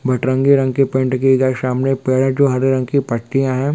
बत्रंगी रंग के पेंट किये गए सामने पेड़ है जो आधे रंग के पत्तिया है।